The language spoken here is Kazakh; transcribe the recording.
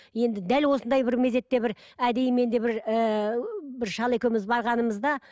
енді дәл осындай бір мезетте бір әдейі мен де бір ііі бір шал екеуміз барғанымызда